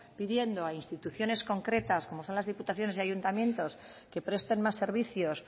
pidiendo a instituciones concretas como son las diputaciones y ayuntamientos que presten más servicios